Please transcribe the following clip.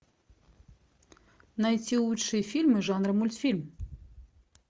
найти лучшие фильмы жанра мультфильм